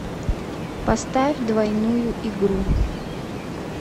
поставь двойную игру